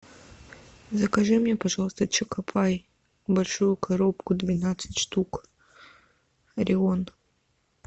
закажи мне пожалуйста чоко пай большую коробку двенадцать штук орион